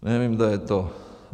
Nevím, kdo je to.